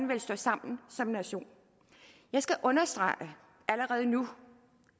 vil stå sammen som nation jeg skal understrege allerede nu